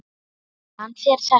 Sagði hann þér þetta?